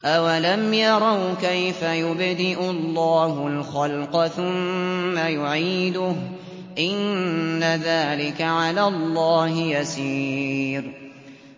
أَوَلَمْ يَرَوْا كَيْفَ يُبْدِئُ اللَّهُ الْخَلْقَ ثُمَّ يُعِيدُهُ ۚ إِنَّ ذَٰلِكَ عَلَى اللَّهِ يَسِيرٌ